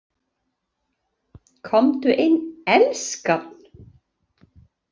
Komdu inn, elskan!